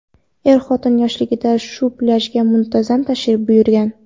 Er-xotin yoshligida shu plyajga muntazam tashrif buyurgan.